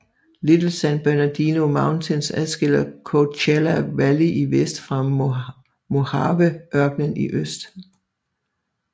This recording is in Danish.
Little San Bernardino Mountains adskiller Coachella Valley i vest fra Mojaveørkenen i øst